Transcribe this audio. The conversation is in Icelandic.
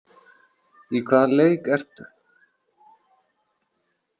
Í hvaða leik ertu?